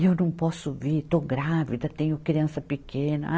E eu não posso vir, estou grávida, tenho criança pequena. ai